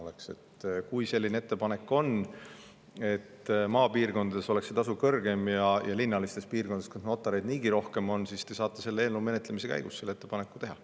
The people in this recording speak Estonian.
Kui aga on selline ettepanek, et maapiirkondades oleks tasu kõrgem ja linnalistes piirkondades, kus notareid on niigi rohkem, siis te saate selle eelnõu menetlemise käigus selle ettepaneku teha.